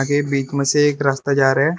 आगे बीच में से एक रास्ता जा रहे है।